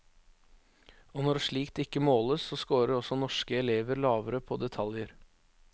Og når slikt ikke måles, så scorer også norske elever lavere på detaljer.